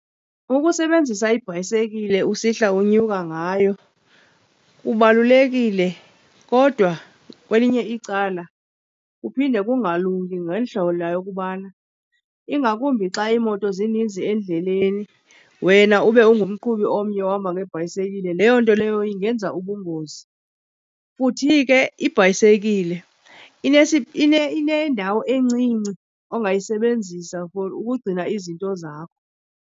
Ukusebenzisa ibhayisekile usihla unyuka ngayo kubalulekile kodwa kwelinye icala kuphinde kungalungi ngeli hlobo lokubana ingakumbi xa iimoto zininzi endleleni, wena ube ungumqhubi omnye ohamba ngebhayisekile leyo nto leyo ingenza ubungozi. Futhi ke ibhayisekile inendawo encinci ongayisebenzisa for ukugcina izinto zakho.